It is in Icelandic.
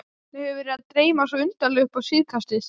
Mig hefur verið að dreyma svo undarlega upp á síðkastið.